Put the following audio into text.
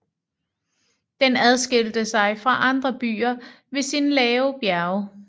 Den adskilte sig fra andre byer ved sine lave bjerge